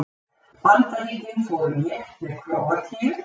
Bandaríkin fóru létt með Króatíu